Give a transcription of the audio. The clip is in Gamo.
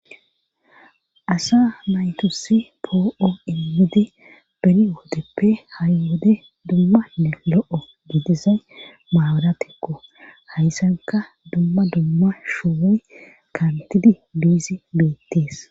Asa maytusi poo7o immidi beni woodeppe hari wode dummanne lo7o didizay maawaratikko hayssanka dumma dumma shu kantidi biizi beettees.